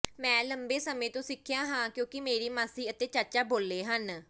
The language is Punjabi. ਮੈਂ ਲੰਬੇ ਸਮੇਂ ਤੋਂ ਸਿੱਖਿਆ ਹੈ ਕਿਉਂਕਿ ਮੇਰੀ ਮਾਸੀ ਅਤੇ ਚਾਚਾ ਬੋਲ਼ੇ ਹਨ